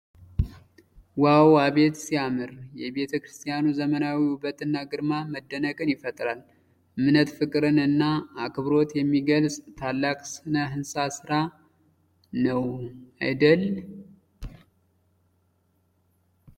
ዋው! አቤት ሲያምር! የቤተ ክርስቲያኑ ዘመናዊ ውበትና ግርማ መደነቅን ይፈጥራል። የእምነት ፍቅርን እና አክብሮትን የሚገልጽ ታላቅ ሥነ-ሕንፃ ስራ ነው አደል።